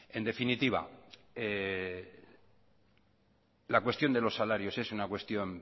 en definitiva la cuestión de los salarios es una cuestión